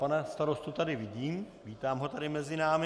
Pana starostu tady vidím, vítám ho tady mezi námi.